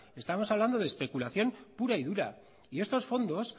estamos hablando de especulación pura y dura y estos fondos